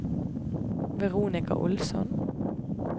Veronica Olsson